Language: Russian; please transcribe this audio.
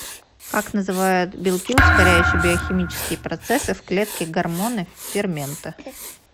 как называют белки ускоряющие биохимические процессы в клетке гормоны ферменты